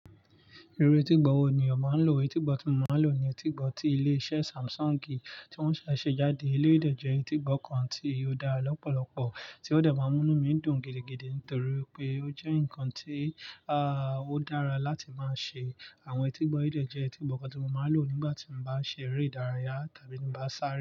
Iru etígbọ́ wo ni o máa ń lò? Etígbọ́ tí mo máa ń lò ni etígbọ́ tí ilé iṣẹ́ Samsung tí wọ́n ṣẹ̀ ṣe jáde. Eléyi ìdè jẹ́ etígbọ́ kan tí ó dára lọ́pọ̀lọpọ̀, tí ó dà máa ń mú mí dùn gidigidi nítorí pé ó jẹ́ ǹkan tí, à, ó dára láti máa ṣe. Àwọn etígbọ́ ìdè jẹ́ etígbọ́ kan tí mo máa ń lò nígbà tí mo bá ṣe eré ìdárayá tàbí ní bá ń sáré.